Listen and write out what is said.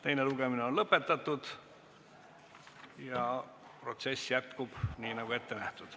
Teine lugemine on lõpetatud ja protsess jätkub nii, nagu on ette nähtud.